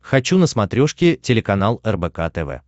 хочу на смотрешке телеканал рбк тв